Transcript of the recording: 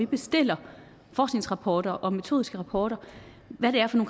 bestiller forskningsrapporter og metodiske rapporter hvad det er for